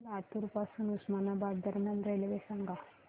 लातूर पासून उस्मानाबाद दरम्यान रेल्वे सांगा